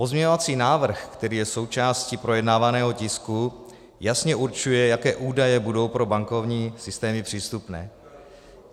Pozměňovací návrh, který je součástí projednávaného tisku, jasně určuje, jaké údaje budou pro bankovní systémy přístupné.